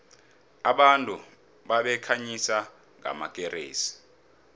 abantu babekhanyisa ngamakeresi